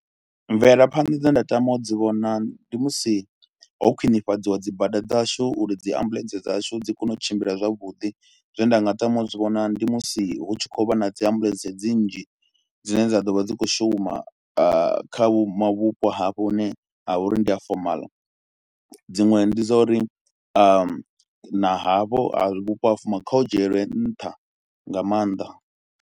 Mvelaphanḓa dzine nda tama u dzi vhona ndi musi ho khwinifhadziwa dzi bada dzashu uri dzi ambuḽentse dzashu dzi kone u tshimbila zwavhuḓi, zwine nda nga tama u dzi vhona ndi musi hu tshi khou vha na dzi ambuḽentse dzi nnzhi dzine dza ḓo vha dzi khou shuma kha vhupo hafho hune ha vha uri ndi a fomaḽa. Dziṅwe ndi dza uri na havho ha vhupo ha fomala kha u dzhielwi nṱha nga maanḓa.